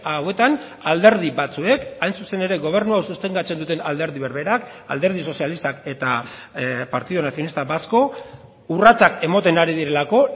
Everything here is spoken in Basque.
hauetan alderdi batzuek hain zuzen ere gobernu hau sostengatzen duten alderdi berberak alderdi sozialistak eta partido nacionalista vasco urratsak ematen ari direlako